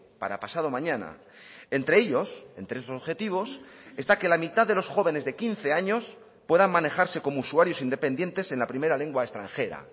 para pasado mañana entre ellos entre esos objetivos está que la mitad de los jóvenes de quince años puedan manejarse como usuarios independientes en la primera lengua extranjera